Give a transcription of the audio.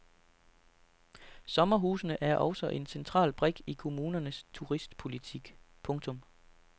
Sommerhusene er også en central brik i kommunernes turistpolitik. punktum